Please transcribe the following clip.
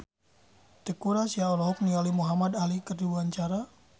Teuku Rassya olohok ningali Muhamad Ali keur diwawancara